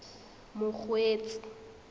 mokgweetsi